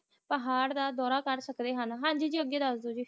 ਪਹਾੜਾਂ ਦਾ ਡੋਰਾ ਕਰ ਸਕਦੇ ਹਨ ਹਨਜੀ ਜੀ ਅਗੈ ਦਸ ਦੋ ਜੀ